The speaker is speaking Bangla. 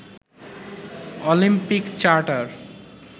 Olympic charter